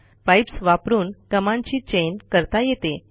pipes वापरून कमांडची chain करता येते